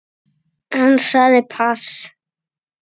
Hann sagði pass.